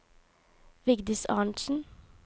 Vigdis Arntzen